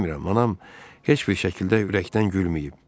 Bilmirəm, anam heç bir şəkildə ürəkdən gülməyib.